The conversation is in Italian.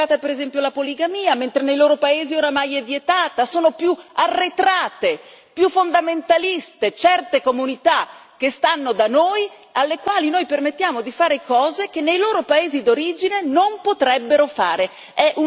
Sono più arretrate e più fondamentaliste certe comunità che stanno da noi, alle quali noi permettiamo di fare cose che nei loro paesi d'origine non si potrebbero fare è una contraddizione pazzesca ma l'abbiamo tollerata.